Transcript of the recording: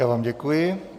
Já vám děkuji.